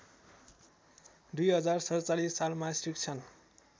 २०४७ सालमा शिक्षण